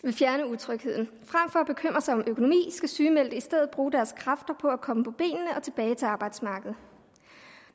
utrygheden frem for at bekymre sig om økonomi skal sygemeldte i stedet bruge deres kræfter på at komme på benene og tilbage til arbejdsmarkedet